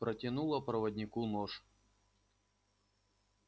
протянула проводнику нож